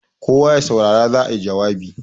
kawo ya saurara za a yi jawabi!